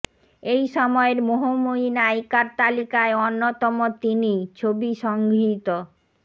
এই সময়ের মোহময়ী নায়িকার তালিকায় অন্যতম তিনিই ছবি সংগৃহীত